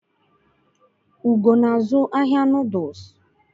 Ugo na-azụ ahịa Nudulsu